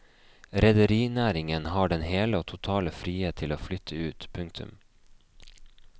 Rederinæringen har den hele og totale frihet til å flytte ut. punktum